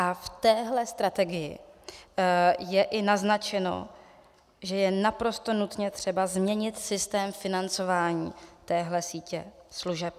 A v téhle strategii je i naznačeno, že je naprosto nutně třeba změnit systém financování téhle sítě služeb.